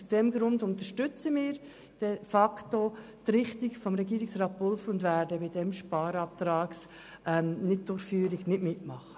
Aus diesem Grund unterstützen wir die von Regierungsrat Pulver vorgeschlagene Richtung und werden diesem Antrag nicht zustimmen.